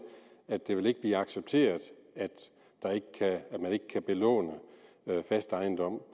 at det ikke vil blive accepteret at man ikke kan belåne fast ejendom